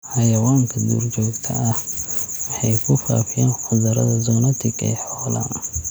Xayawaanka duurjoogta ah waxay ku faafiyaan cudurrada zoonotic ee xoolaha.